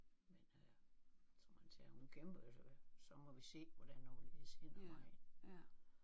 Men øh som han sagde hun kæmper jo så så må vi se hvordan og hvorledes hen ad vejen